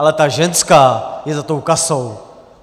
Ale ta ženská je za tou kasou.